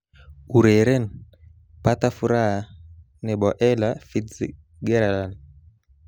Ureren 'pata furaha' nebo Ella Fitzgerald